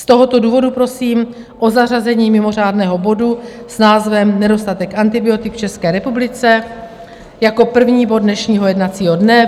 Z tohoto důvodu prosím o zařazení mimořádného bodu s názvem Nedostatek antibiotik v České republice jako první bod dnešního jednacího dne.